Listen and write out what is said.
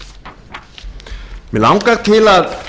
mig langar til að